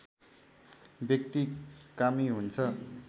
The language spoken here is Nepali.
व्यक्ति कामी हुन्छ